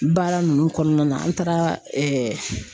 Baara ninnu kɔnɔna na an taara